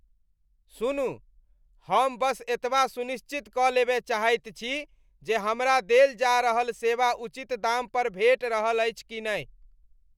सुनू, हम बस एतबा सुनिश्चित कऽ लेबय चाहैत छी जे हमरा देल जा रहल सेवा उचित दाम पर भेटि रहल अछि कि नहि।